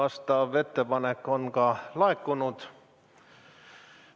Selline ettepanek on juba laekunud.